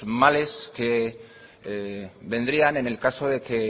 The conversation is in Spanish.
males que vendrían en el caso de que